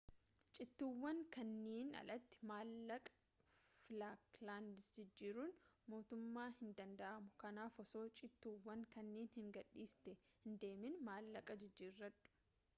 cittuuwwan kanniiniin alatti mallaqa falklands jijjjiiruun matumaa hin danda'amu kanaaf osoo cittuuwwan kanniin hin gadhistee hindeemin maallaqa jijjiiradhu